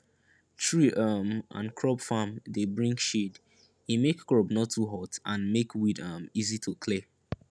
tree um and crop farm dey bring shade e make crop no too hot and make weed um easy to clear